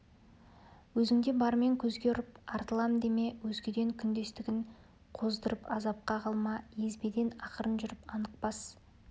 өзіңде бармен көзге ұрып артылам деме өзгеден күндестігін қоздырып азапқа қалма езбеден ақырын жүріп анық бас